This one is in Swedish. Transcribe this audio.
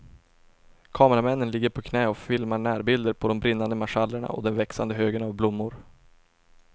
Kameramännen ligger på knä och filmar närbilder på de brinnande marschallerna och den växande högen av blommor.